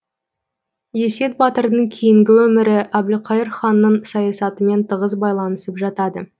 есет батырдың кейінгі өмірі әбілқайыр ханның саясатымен тығыз байланысып жатады